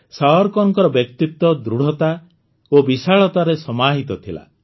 ସାୱରକରଙ୍କର ବ୍ୟକ୍ତିତ୍ୱ ଦୃଢ଼ତା ଓ ବିଶାଳତାରେ ସମାହିତ ଥିଲା